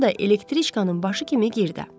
Başı da elektriçkanın başı kimi girdə.